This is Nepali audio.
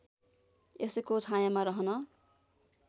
यसको छायामा रहन